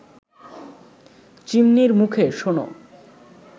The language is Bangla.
চিমনির মুখে শোনো